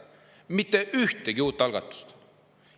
Mitte ühtegi uut algatust!